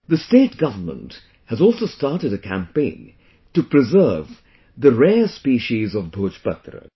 The state government has also started a campaign to preserve the rare species of Bhojpatra